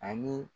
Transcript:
Ani